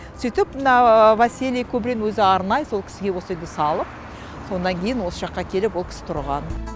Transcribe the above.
сөйтіп мына василий кубрин өзі арнай сол кісіге осы үйді салып содан кейін осы жаққа келіп ол кісі тұрған